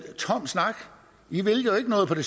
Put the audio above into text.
er tom snak i vil jo ikke noget på det